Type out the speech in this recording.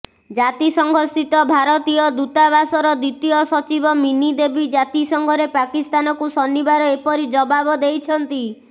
ଜାତିସଂଘସ୍ଥିତ ଭାରତୀୟ ଦୂତାବାସର ଦ୍ୱିତୀୟ ସଚିବ ମିନି ଦେବୀ ଜାତିସଂଘରେ ପାକିସ୍ତାନକୁ ଶନିବାର ଏପରି ଜବାବ ଦେଇଛନ୍ତି